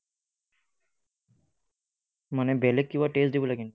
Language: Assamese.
মানে বেলেগ কিবা test দিব লাগে নেকি?